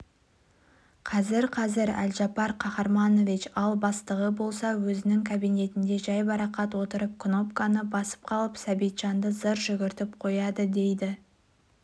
қазір-қазір әлжапар қаһарманович ал бастығы болса өзінің кабинетінде жайбарақат отырып кнопканы басып қалып сәбитжанды зыр жүгіртіп қояды дейді